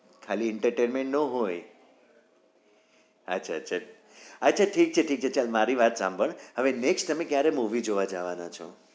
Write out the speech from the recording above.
ખાલી entertainment નો હોય અચ્છા અચ્છા અચ્છા ઠીક છે ઠીક છે ચાલ મારી વાત સંભાળ હવે તને કયારે movie જોવા જવાના છો?